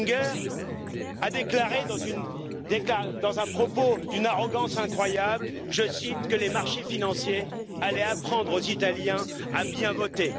Oettinger déclare, dans un propos d'une arrogance incroyable, je cite, que les marchés financiers vont apprendre aux italiens à bien voter.